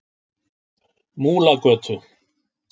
Múlagötu